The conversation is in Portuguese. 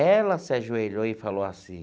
Ela se ajoelhou e falou assim,